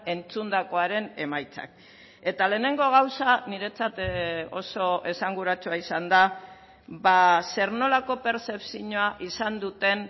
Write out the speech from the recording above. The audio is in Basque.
entzundakoaren emaitzak eta lehenengo gauza niretzat oso esanguratsua izan da zer nolako pertzepzioa izan duten